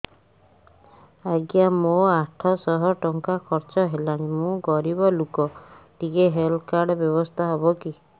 ଆଜ୍ଞା ମୋ ଆଠ ସହ ଟଙ୍କା ଖର୍ଚ୍ଚ ହେଲାଣି ମୁଁ ଗରିବ ଲୁକ ଟିକେ ହେଲ୍ଥ କାର୍ଡ ବ୍ୟବସ୍ଥା ହବ କି